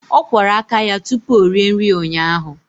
Ọ kwọrọ aka ya tupu ọ rie nri ụnyaahụ.